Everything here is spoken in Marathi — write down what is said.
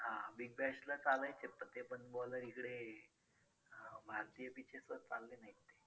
हां big bash ला चालायचे पण ते bowler इकडे अं भारतीय pitches वर चालले नाहीत ते